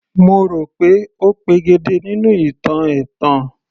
Mo rò pé ó pegedé nínú ìtàn ẹ̀tàn